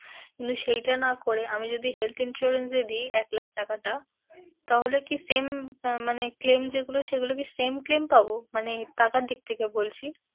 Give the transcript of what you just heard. কিন্তু সেইটা না করে আমি যদি health insurance এ দিই এক লাখ টাকাটা, তাহলে কি same আহ মানে claim যেইগুলো সেইগুলো কি same claim পাবো? মানে টাকার দিক থেকে বলছি।